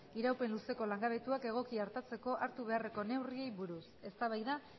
iraupen luzeko langabetuak egoki artatzeko hartu beharreko neurriei buruz eztabaida